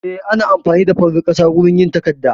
Eh, ana amfani da farar ƙasa wurin yin takarda